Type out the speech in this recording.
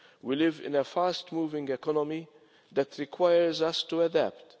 We live in a fast moving economy that requires us to adapt.